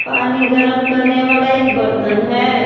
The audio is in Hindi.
पानी गर्म करने वाला एक बर्तन है।